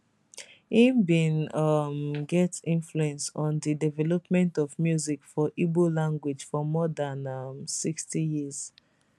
im bin um get influence on di development of music for igbo language for more dan um 60 years